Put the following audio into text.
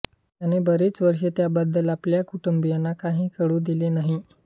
त्याने बरीच वर्षे त्याबद्दल आपल्या कुटुंबियांना काही कळु दिले नही